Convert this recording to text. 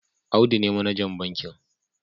Audu ne manajan bankin